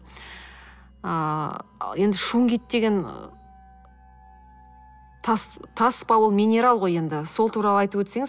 ыыы енді шунгит деген тас тас па ол минерал ғой енді сол туралы айтып өтсеңіз